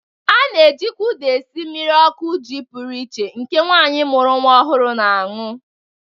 A na-ejikwa ụda esi mmiri ọkụ ji pụrụ iche nke nwaanyị mụru nwa ọhụrụ na-anụ.